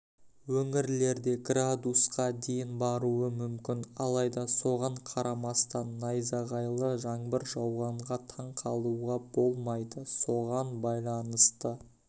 өңірлерде градусқа дейін баруы мүмкін алайда соған қарамастан найзағайлы жаңбыр жауғанға таңқалуға болмайды соған байланысты